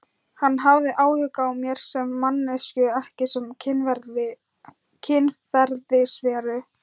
Hann hafði áhuga á mér sem manneskju ekki sem kynferðisveru?